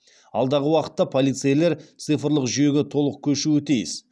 алдағы уақытта полицейлер цифрлық жүйеге толық көшуі тиіс